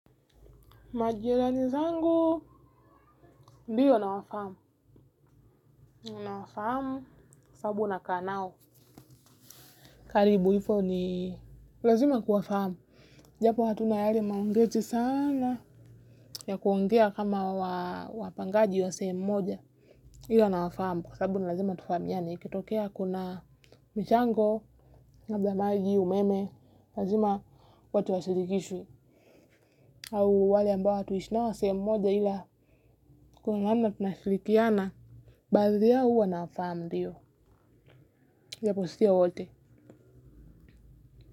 Majirani zangu ndio nawafahamu. Na wafahamu kwa sababu nakaa nao. Karibu, hivo ni lazima kuwafahamu japo hatuna yale maombezi sana, ya kuongea kama wapangaji wa sehemu moja. Ila nawafahamu kwa sababu ni lazima tufahamiane, ikitokea kuna michango labda maji, umeme. Lazima watu wa shirikishwe. Au wale ambao hatuishi nao sehemu moja. Ila kuna namna tunashirikiana, baadhi yao huwa nawafahamu ndio iwapo sio wote.